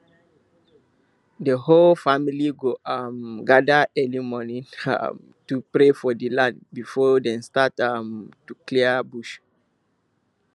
the whole family go um gather early morning um to pray for the land before dem start um to clear bush